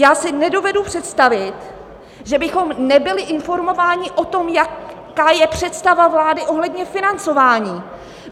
Já si nedovedu představit, že bychom nebyli informováni o tom, jaká je představa vlády ohledně financování.